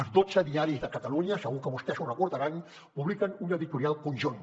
els dotze diaris de catalunya segur que vostès ho deuran recordar publiquen un editorial conjunt